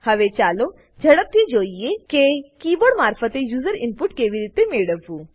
હવે ચાલો ઝડપથી જોઈએકે કીબોર્ડ મારફતે યુઝર ઈનપુટ કેવી રીતે મેળવવું